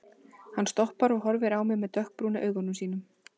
Hann stoppar og horfir á mig með dökkbrúnu augunum sínum.